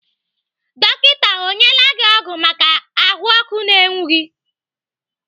Dọkita ọ nyela gị ọgwụ maka ahụọkụ na-enwu gị?